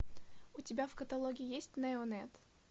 у тебя в каталоге есть неонет